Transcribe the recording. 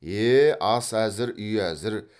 е ас әзір үй әзір